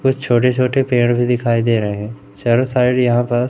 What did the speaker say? कुछ छोटे-छोटे पेड़ भी दिखाई दे रहे हैं। चारो साइड यहां पास--